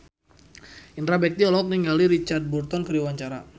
Indra Bekti olohok ningali Richard Burton keur diwawancara